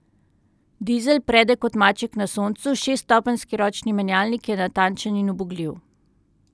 Dizel prede kot maček na soncu, šeststopenjski ročni menjalnik je natančen in ubogljiv.